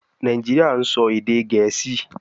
Nàìjíríà ń sọ èdè Gẹ̀ẹ́sì